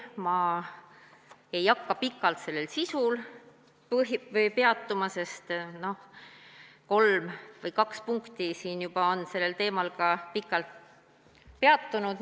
Ma ei hakka pikalt sellel sisul peatuma, sest kahe punkti jooksul juba on sellel teemal pikalt peatunud.